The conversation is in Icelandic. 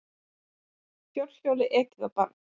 Fjórhjóli ekið á barn